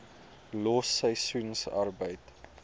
los seisoensarbeid